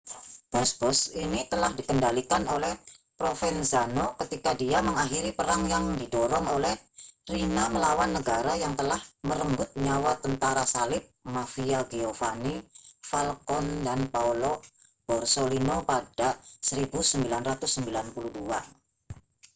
bos-bos ini telah dikendalikan oleh provenzano ketika dia mengakhiri perang yang didorong oleh riina melawan negara yang telah merenggut nyawa tentara salib mafia giovanni falcone dan paolo borsellino pada 1992